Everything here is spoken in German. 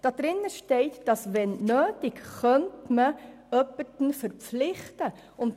Im Antrag steht lediglich, dass bei Notwendigkeit jemand dazu verpflichtet werden könnte.